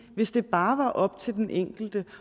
hvis det bare var op til den enkelte